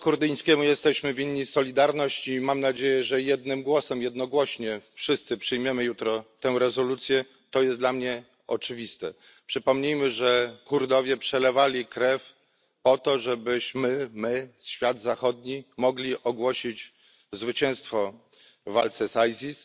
Narodowi kurdyjskiemu jesteśmy winni solidarność i mam nadzieję, że jednogłośnie wszyscy przyjmiemy jutro tę rezolucję to jest dla mnie oczywiste. Przypomnijmy, że Kurdowie przelewali krew po to, żebyśmy my, świat zachodni, mogli ogłosić zwycięstwo w walce z ISIS,